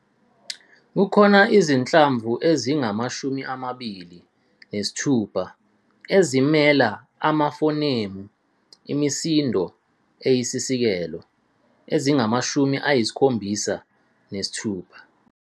Kukhona izinhlamvu ezingamashumi amabili nesithupha ezimela amafonemu, imisindo eyisisekelo, ezingamashumi ayisikhombisa nesithupha.